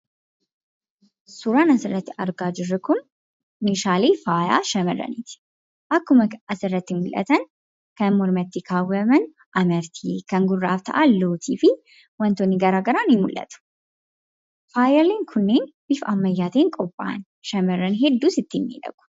Suuraan asirratti argaa jirru kun, meeshaalee faayaa shamarraniiti. Akkuma asirratti mul'atan kan mormatti kaawwaman amartii kan gurraaf ta'an lootii fi waantonni garaagaraa ni mul'atu. Faayaaleen kunniin bifa ammayyaatiin qophaa'an. Shamarran hedduus ittiin miidhagu.